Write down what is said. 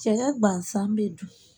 Cɛya gansan bɛ dun